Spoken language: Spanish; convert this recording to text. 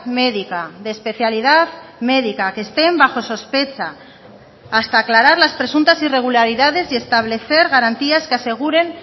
médica de especialidad médica que estén bajo sospecha hasta aclarar las presuntas irregularidades y establecer garantías que aseguren